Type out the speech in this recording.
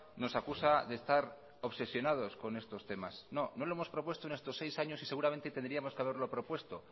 nos acusa de estar obsesionados con estos temas no no lo hemos propuesto en estos seis años y seguramente tendríamos que haberlo propuesto